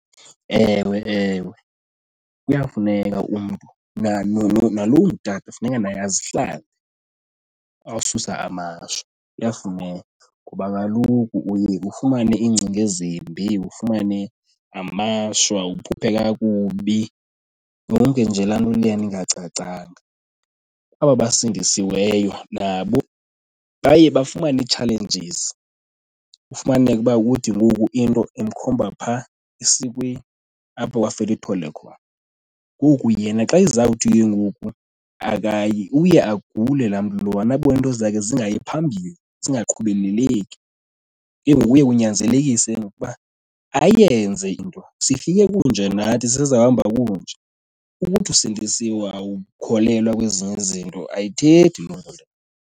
Ewe, ewe, kuyafuneka umntu nalo ungutata funeka naye azihlambe, awususa amashwa. Kuyafuneka ngoba kaloku uye ufumane iingcinga ezimbi, ufumane amashwa uphuphe kakubi, yonke nje laa nto leyana ingacacanga. Kwaba basindisweyo nabo baye bafumane ii-challenges, kufumaneke uba kuthi ngoku into imkhomba phaa esikweni apho wafela ithole khona. Ngoku yena xa ezawuthi ke ngoku akayi, uye agule laa mntu lowana abone into zakhe zingayi phambili zingaqhubeleleki, inguye kunyanzelekise ke ngoku uba ayenze into. Sifike kunje nathi, sizawuhamba kunje. Ukuthi usindisiwe awukholelwa kwezinye izinto ayithethi loo nto leyo.